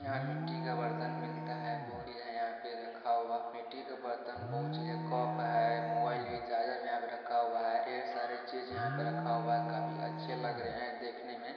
यहाँ मिट्टी का बर्तन मिलता है यहाँ पर रखा हुआ मिट्टी का बर्तन बहुत चीज़ है कप है मोबाइल भी चार्जर यहाँ रखा हुआ है ढेर सारे चीज़ यहाँ पे रखा हुआ हैं काफी अच्छे लग रहे है देखने में।